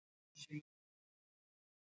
Er maður þyngri á Venus eða Mars?